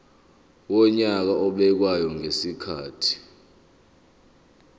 wonyaka obekwayo ngezikhathi